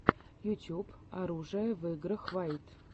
ютюб оружие в играх вайт